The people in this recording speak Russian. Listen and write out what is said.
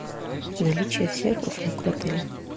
наличие всех услуг в отеле